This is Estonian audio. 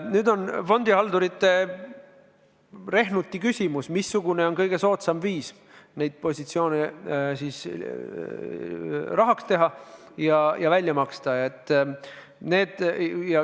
Nüüd peavad fondihaldurid tegema rehnuti, missugune on kõige soodsam viis raha välja maksta.